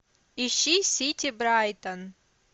ищи сити брайтон